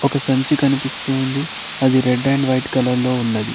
ఒక సంచి కనిపిస్తోంది అది రెడ్ అండ్ వైట్ కలర్ లో ఉన్నది.